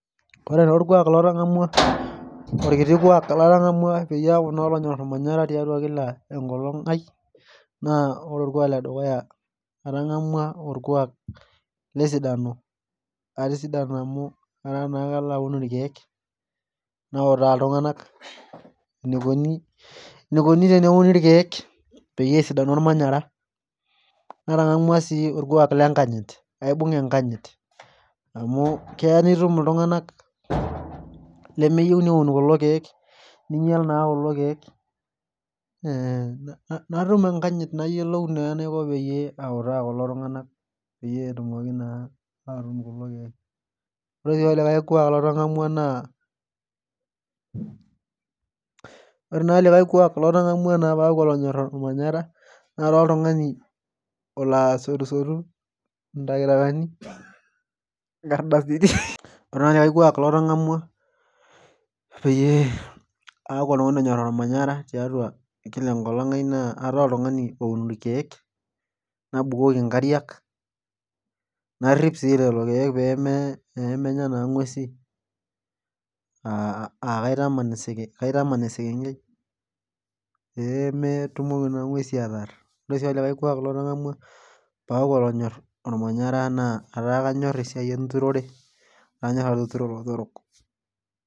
Ore taa orkuak latang'amua orkiti kuak latang'amua peyie aaku naa olonyorr ormanyara tiatua kila enkolong ai naa ore orkuak ledukuya atang'amua orkuak lesidano atisidana amu etaa naa kaloaun irkiek nautaa iltung'anak enikoni enikoni teneuni irkeek peyie esidanu ormanyara natang'amua sii orkuak lenkanyit aibung'a enkanyit amu keya nitum iltung'anak lemeyieu neun kulo keek ninyial naa kulo keek eh natum enkanyit nayiolou naa enaiko peyie autaa kulo tung'anak peyie etumoki naa atuun kulo keek ore sii olikae kuak latang'amua naa ore naa likae kuak latang'amua naa paaku olonyorr olmanyara nataa oltung'ani olo asotusotu intakitakani inkardasini ore naa likae kuak latang'amua peyie aaku oltung'ani onyorr ormanyara tiatua kila enkolong ai naa ataa oltung'ani oun irkeek nabukoki inkariak narrip sii lelo keek peeme pemenya naa ing'uesi uh kaitaman eseke kaitaman esekenkei peemetumoki naa ing'uesi ataarr ore sii olikae kuak latang'amua paaku olonyorr ormanyara naa ataa kanyorr esiai enturore kanyorr atuturo ilotorok.